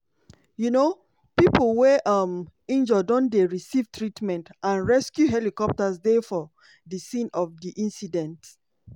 um pipo wey um injure don dey receive treatment and rescue helicopters dey for di scene of di accident.